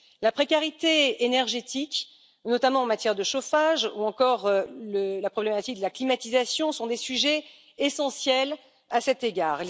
La précarité énergétique, notamment en matière de chauffage, ou encore la problématique de la climatisation sont des sujets essentiels à cet égard.